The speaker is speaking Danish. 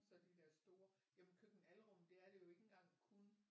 Så de der store jamen køkken-alrum det er det jo ikke engang kun